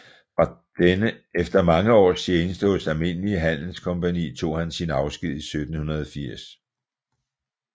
Efter mange års tjeneste hos Almindelige Handelscompagnie tog han sin afsked i 1780